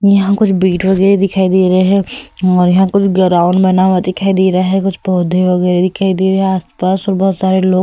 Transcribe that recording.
यहां कुछ बीट वगैरह दिखाई दे रहे हैं और यहां कुछ ग्राउंड बना हुआ दिखाई दे रहा है कुछ पौधे वगैरह दिखाई दे रहे हैं आसपास और बहुत सारे लोग --